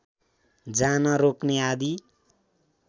जान रोक्ने आदि